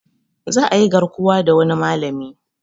Za ayi garkuwa da wani malami